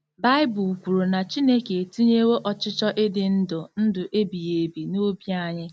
Baịbụl kwuru na Chineke etinyewo ọchịchọ ịdị ndụ ndụ ebighị ebi n’obi anyị.